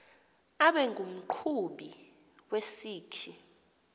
abe ngumqhubi wesikhi